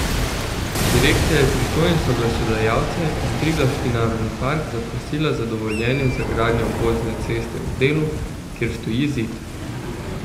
Direkcija je pristojne soglasodajalce in Triglavski narodni park zaprosila za dovoljenje za gradnjo obvozne ceste v delu, kjer stoji zid.